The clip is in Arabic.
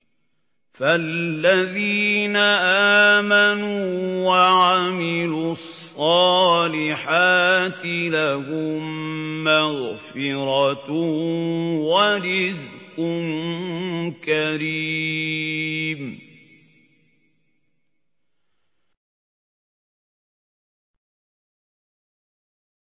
فَالَّذِينَ آمَنُوا وَعَمِلُوا الصَّالِحَاتِ لَهُم مَّغْفِرَةٌ وَرِزْقٌ كَرِيمٌ